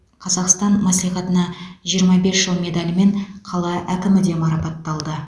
қазақстан мәслихатына жиырма бес жыл медалімен қала әкімі де марапатталды